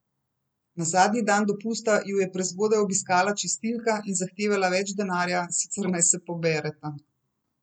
Na zadnji dan dopusta ju je prezgodaj obiskala čistilka in zahtevala več denarja, sicer naj se pobereta.